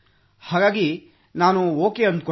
ಹಾಗಾಗಿ ನಾನೂ ಓಕೆ ಅಂದುಕೊಂಡೆ